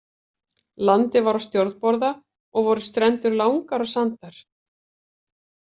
Landið var á stjórnborða og voru strendur langar og sandar.